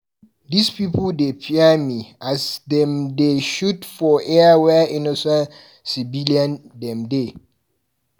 Dis pipu dey fear me, see as dem dey shoot for air where innocent civilian dem dey.